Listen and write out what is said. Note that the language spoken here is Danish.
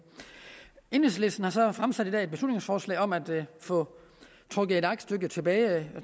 enhedslisten har så i dag fremsat beslutningsforslag om at få trukket et aktstykke tilbage